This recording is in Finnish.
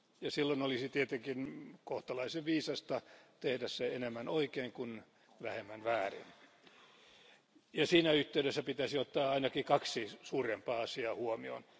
Silloin olisi tietenkin kohtalaisen viisasta tehdä se enemmän oikein kuin vähemmän väärin. Siinä yhteydessä pitäisi ottaa ainakin kaksi suurempaa asiaa huomioon.